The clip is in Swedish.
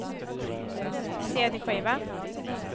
cd-skiva